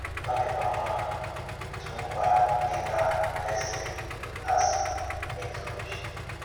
Ó dịkwa mma otú nkwa dị n’vesịrị a sì mètụ̀ obi.